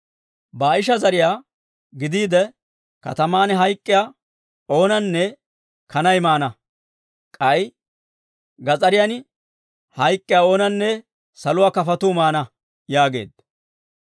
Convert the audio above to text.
Baa'isha zariyaa gidiide, kataman hayk'k'iyaa oonanne kanay maana; k'ay gas'ariyan hayk'k'iyaa oonanne saluwaa kafotuu maana» yaageedda.